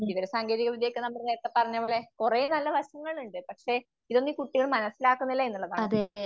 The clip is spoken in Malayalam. കുട്ടികൾ സാങ്കേതികവിദ്യയൊക്കെ നമ്മൾ നേരത്തെ പറഞ്ഞപോലെ കുറേ നല്ല വശങ്ങളുണ്ട്. പക്ഷെ ഇതൊന്നും കുട്ടികൾ മനസ്സിലാക്കുന്നില്ല എന്നാണ്.